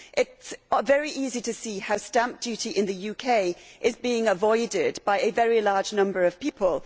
It is very easy to see how stamp duty in the UK is being avoided by a very large number of people.